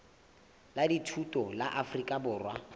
la dithuto la afrika borwa